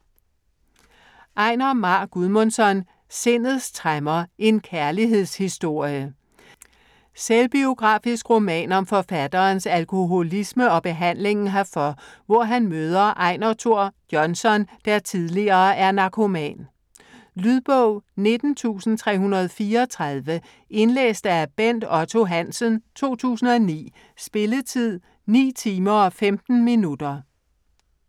Einar Már Guðmundsson: Sindets tremmer: en kærlighedshistorie Selvbiografisk roman om forfatterens alkoholisme og behandlingen herfor, hvor han møder Einar Thor Jonsson, der tillige er narkoman. Lydbog 19334 Indlæst af Bent Otto Hansen, 2009. Spilletid: 9 timer, 15 minutter.